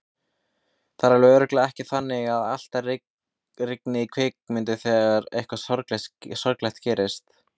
Það er alveg örugglega ekki þannig að alltaf rigni í kvikmyndum þegar eitthvað sorglegt gerist.